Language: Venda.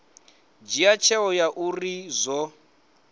dzhia tsheo ya uri zwo